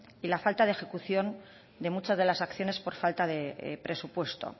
y la falta de ejecución de muchas de las acciones por falta de presupuesto